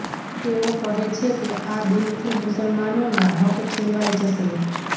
તેઓ કહે છે કે આ બિલથી મુસલમાનોના હક છીનવાઈ જશે